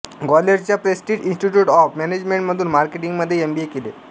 ग्वाल्हेरच्या prestige institute of मॅनेजमेंटमधून मार्केटींगमध्ये MBA केले